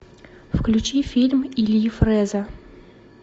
включи фильм ильи фрэза